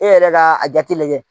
E yɛrɛ ka a jate lajɛ.